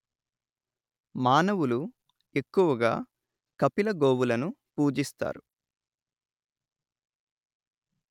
మానవులు ఎక్కువగా కపిలగోవులను పూజిస్తారు